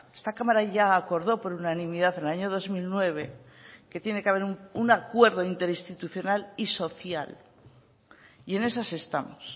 esta cámara ya acordó por unanimidad en el año dos mil nueve que tiene que haber un acuerdo interinstitucional y social y en esas estamos